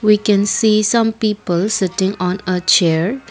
we can see some peoples sitting on a chair.